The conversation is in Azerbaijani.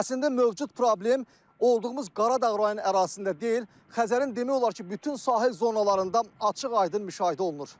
Əslində mövcud problem olduğumuz Qaradağ rayonu ərazisində deyil, Xəzərin demək olar ki, bütün sahil zonalarında açıq-aydın müşahidə olunur.